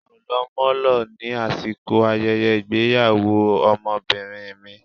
á o lò molo, ni asikò ayẹyẹ ìgbéyàwò Ọmọbinrin mi.